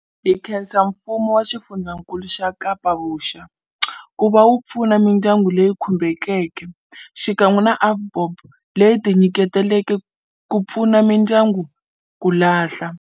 Hi khensa Mfumo wa Xifundzakulu xa Kapa-Vuxa ku va wu pfuna mindyangu leyi khumbekeke, xikan'we na AVBOB leyi tinyiketeleke ku pfuna mindyangu ku lahla.